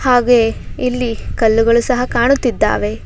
ಹಾಗೆ ಇಲ್ಲಿ ಕಲ್ಲುಗಳು ಸಹ ಕಾಣುತ್ತಿದ್ದಾವೆ.